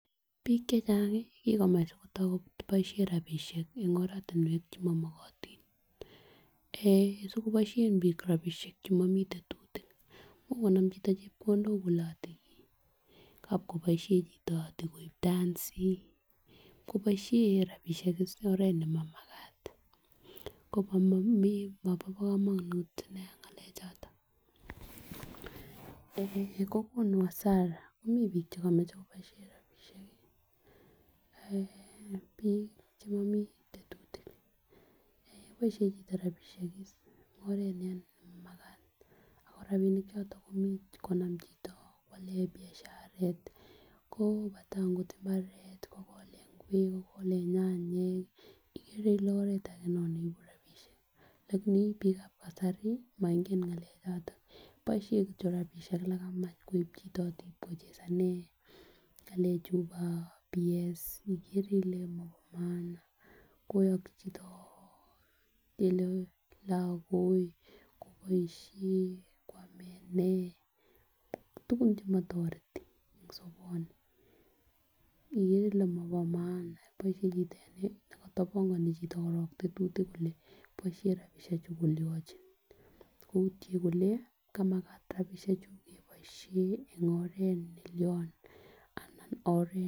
Bik chechang ko kikomach sikoto koboishen rabishek en oratunwek chemomokotin eeh sikoboishen bik rabishek chemomii tetutik much konam chito chepkondok kole ati kab koboishen chito kwakoib dancy kwokoboshen en oret nemakat komobo komonut nia ngalek choton, eeh Kokonu hasara komii bik chekomoche koboishen rabishek kii eeh bik chemomii tetutik eeh boishen chito rabishek kii en oret nemakat ako rabishek choton komuch konam chito kwalen biasharet ko katem ko imbaret kokolen ingwek, kokole nyanyik ikere kole oret age kora non neibu rabishek lakini bikab kasari moingen ngalek choton boishen kityok rabishek lekamach koib chito ot iib kochezanen ngale chuu bo PS ikere ile Kobo maana koyoki chito ngele lokok koboishen kwame nee tukun chemotoreti en soboni ikere ile mobo maana boishen chito en nee nekotopongonu korib tetutik kole boishen rabishek chu kolionchi koutyen kole kamakat rabishek chuu keboishen en oret nelion anan oret.